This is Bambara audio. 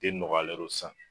Den nɔgɔyalen de sisan